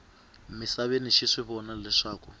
misaveni xi swi vona leswaku